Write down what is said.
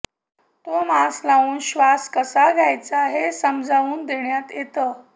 तो मास्क लावून श्वास कसा घ्यायचा हे समजावून देण्यात येतं